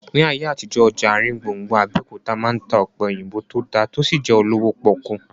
Ní ayé àtijọ́, ọjà àrin gbùngbùn Abẹ́òkúta máa ń ta ọ̀pẹ̀ òyìnbó tó dá tí ó sì jẹ́ olówó pọ́kú